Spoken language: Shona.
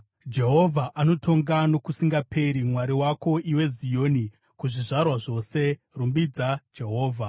Jehovha anotonga nokusingaperi, Mwari wako, iwe Zioni, kuzvizvarwa zvose. Rumbidza Jehovha.